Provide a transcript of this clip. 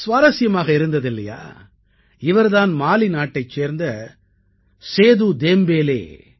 சுவாரசியமாக இருந்தது இல்லையா இவர் தான் மாலி நாட்டைச் சேர்ந்த சேது தேம்பேலே